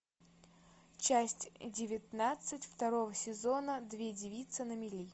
часть девятнадцать второго сезона две девицы на мели